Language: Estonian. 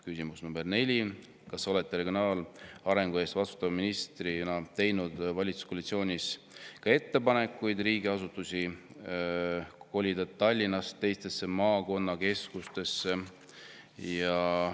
" Küsimus nr 4: "Kas olete regionaalarengu eest vastutava ministrina teinud valitsuskoalitsioonis ka ettepaneku riigiasutusi kolida Tallinnast teistesse maakonnakeskustesse?